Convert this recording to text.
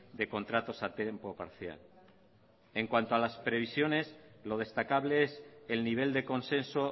de contratos a tiempo parcial en cuanto a las previsiones lo destacable es el nivel de consenso